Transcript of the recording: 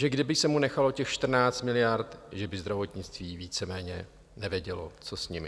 Že kdyby se mu nechalo těch 14 miliard, že by zdravotnictví víceméně nevědělo, co s nimi.